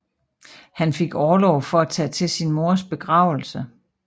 Han fik orlov for at tage til sin mors begravelse